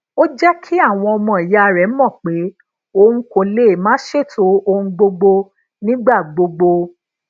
ó jé kí àwọn omo iya rẹ mọ pé òun kò lè máa ṣètò ohun gbogbo nígbà gbogbo